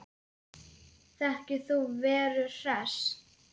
Þekkir þú Veru Hress?